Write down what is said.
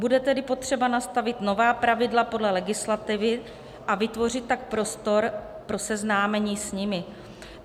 Bude tedy potřeba nastavit nová pravidla podle legislativy, a vytvořit tak prostor pro seznámení s nimi.